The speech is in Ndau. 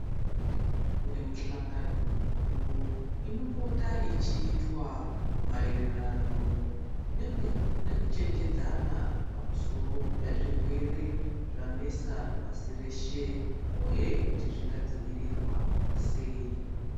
Kune mihlangano mikuru inopota ichiitwa maererano nekuchenjedzana pamusoro pezvirwere zvanesa pasi reshe uye kuti zvingadzivirirwa seyi.